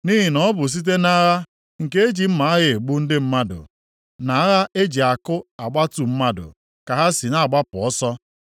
Nʼihi na ọ bụ site nʼagha nke e ji mma agha egbu ndị mmadụ, na agha e ji akụ agbatu mmadụ ka ha si na-agbapụ ọsọ.